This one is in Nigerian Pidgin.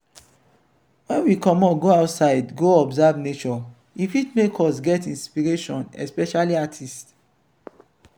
when we comot go outside go observe nature e fit make us get inspiration especially artists